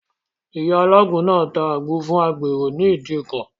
Ìyá alágbo náà ta àgbo fún agbèrò ní ìdíkọ̀.